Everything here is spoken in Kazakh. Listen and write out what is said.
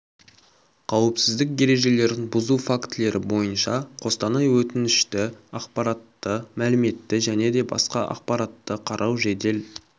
қауіпсіздік ережелерін бұзу фактілері бойынша қостанай өтінішті ақпаратты мәліметті және де басқа ақпаратты қарау жедел